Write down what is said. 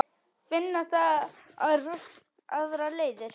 Finna þarf aðrar leiðir.